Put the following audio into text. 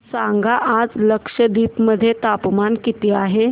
सांगा आज लक्षद्वीप मध्ये तापमान किती आहे